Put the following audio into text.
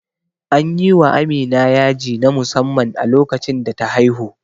Anyi wa Amina yaji na musamman a lokacin da ta haihu